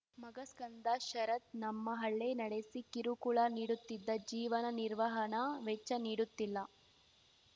ಮಗ ಸ್ಕಂದ ಶರತ್‌ ನಮ್ಮ ಹಳ್ಳೆ ನಡೆಸಿ ಕಿರುಕುಳ ನೀಡುತ್ತಿದ್ದ ಜೀವನ ನಿರ್ವಹಣಾ ವೆಚ್ಚ ನೀಡುತ್ತಿಲ್ಲ